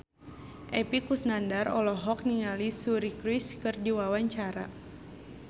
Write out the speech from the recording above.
Epy Kusnandar olohok ningali Suri Cruise keur diwawancara